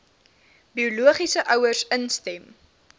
biologiese ouers instem